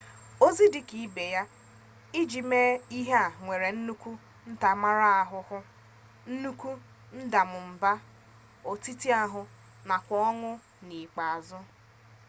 ọzọ dịka ibe ya ị jụ ime ihe a nwere nnukwu ntaramahụhụ nnukwu ndamụmba ọtịtaahụ nakwa ọnwụ n'ikpeazụ